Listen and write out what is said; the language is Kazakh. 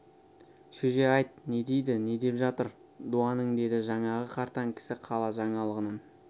шөже айт не дейді не деп жатыр дуаның деді жаңағы қартаң кісі қала жаңалығынан